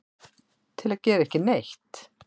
til að gera ekki neitt